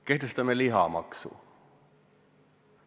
Kehtestame lihamaksu!